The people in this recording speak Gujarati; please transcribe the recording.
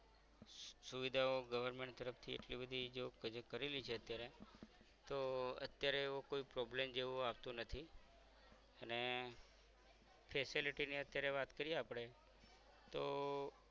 સુવિધાઓ government તરફ થી એટલી બધી જો project કરેલી છે અત્યારે તો અત્યારે એવો કોઈ problem જેવો આવતો નથી અને facility ની અત્યારે વાત કરીયે આપણે તો